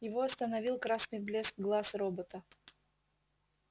его остановил красный блеск глаз робота